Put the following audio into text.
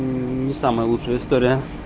мм не самая лучшая история